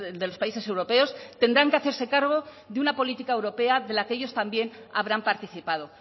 de los países europeos tendrán que hacerse cargo de una política europea de la que ellos también habrán participado